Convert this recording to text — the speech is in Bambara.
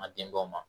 An ka denbaw ma